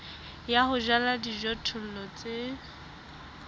ya ho jala dijothollo tse